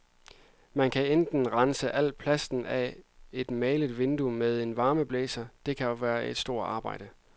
Man kan enten at rense al plasten af et malet vindue med en varmeblæser, det kan være et stort arbejde.